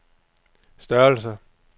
størrelse